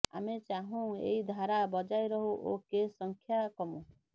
ଆମେ ଚାହୁଁ ଏଇ ଧାରା ବଜାୟ ରହୁ ଓ କେସ୍ ସଂଖ୍ୟା କମୁ